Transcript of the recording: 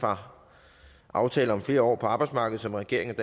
fra aftale om flere år på arbejdsmarkedet som regeringen